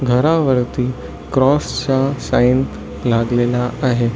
घरा वरती क्रॉस च साइन लागलेल आहे.